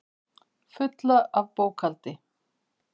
Fulla af bókhaldi.